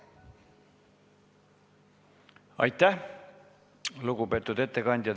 Aitäh, lugupeetud ettekandja!